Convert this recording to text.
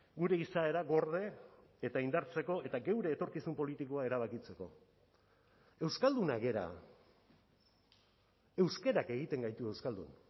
gure izaera gorde eta indartzeko eta geure etorkizun politikoa erabakitzeko euskaldunak gara euskarak egiten gaitu euskaldun